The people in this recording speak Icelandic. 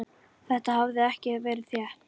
Þetta hafði ekki verið létt.